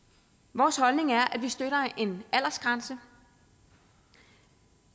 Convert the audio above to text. vores holdning er at vi støtter en aldersgrænse